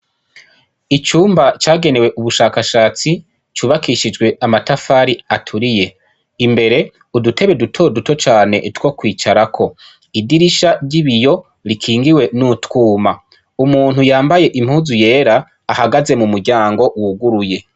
Icumba cagenewe ubushaka shatsi cubakishijwe amatafari aturiye imbere udutebe dutoduto cane two kwicarako idirisha ryibiyo rikingiwe nutwuma umuntu yambaye impuzu yera ahagaze mumuryango wuguruye